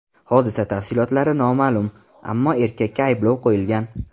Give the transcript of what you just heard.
Hodisa tafsilotlari noma’lum, ammo erkakka ayblov qo‘yilgan.